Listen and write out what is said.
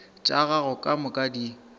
tša gago ka moka di